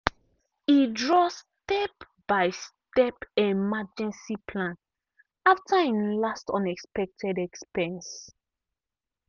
e draw step-by-step emergency plan after him last unexpected expense.